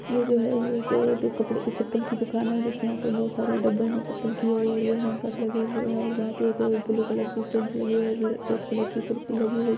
यह जो है यह का कपड़े की चप्पल की दुकान है जिसमे यहा पे बहोत सारे डब्बे मे चप्पल ये वो है लगे हुये है और वह पे ब्लू कलर की जीन्स लगी हुई है रेड कलर की कुर्ती लगी हुई है।